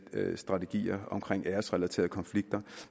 strategier om æresrelaterede konflikter